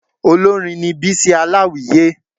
Olórin ni Bísí Aláwìyé